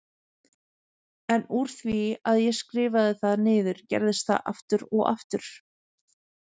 En úr því að ég skrifaði það niður gerist það aftur og aftur!